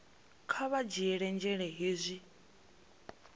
kha vha dzhiele nzhele hezwi